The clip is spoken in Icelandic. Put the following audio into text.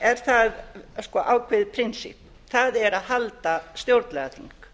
er það ákveðið prinsipp það er að halda stjórnlagaþing